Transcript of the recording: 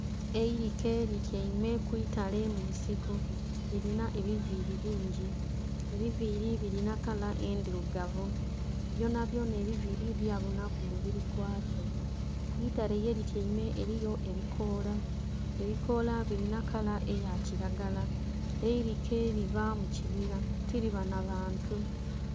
Eilike lityaime ku itale mu nsiko, lilinha ebiviili bingi, ebiviili bilina kala endhilugavu. Byonabyona ebiviili bya bunha ku mubiri gwa kyo. Ku itale ye lityaime eliyo ebikoola, ebikoola bilina kala eya kilagala. Eilike liba mu kibira tiliba nha bantu.